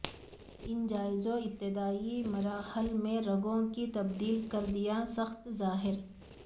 ان جائزوں ابتدائی مراحل میں رگوں کی تبدیل کر دیا ساخت ظاہر